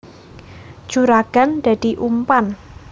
Juragan dadi umpan